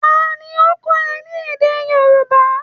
Ta ni ó ń kọ́ ọ ní èdè Yorùbá?